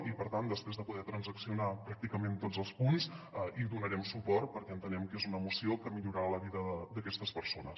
i per tant després de poder transaccionar pràcticament tots els punts hi donarem suport perquè entenem que és una moció que millorarà la vida d’aquestes persones